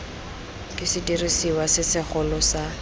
ke sediriswa se segolo sa